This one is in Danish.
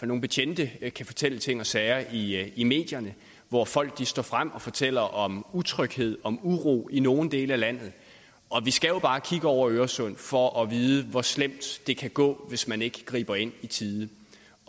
nogle betjente kan fortælle ting og sager i i medierne hvor folk står frem og fortæller om utryghed om uro i nogle dele af landet og vi skal jo bare kigge over øresund for at vide hvor slemt det kan gå hvis man ikke griber ind i tide